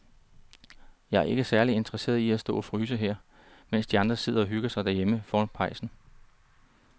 Jeg er ikke særlig interesseret i at stå og fryse her, mens de andre sidder og hygger sig derhjemme foran pejsen.